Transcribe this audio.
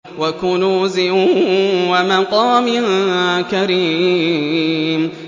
وَكُنُوزٍ وَمَقَامٍ كَرِيمٍ